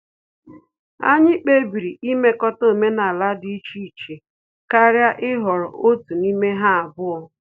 Anyị kpebiri imekọta omenala dị iche iche karịa ịhọrọ otu n'ime ha abụọ